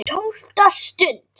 TÓLFTA STUND